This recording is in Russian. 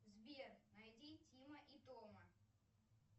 сбер найди тима и тома